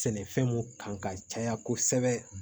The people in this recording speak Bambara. Sɛnɛfɛn mun kan ka caya kosɛbɛ